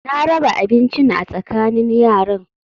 Na raba abincin a tsakanin yaran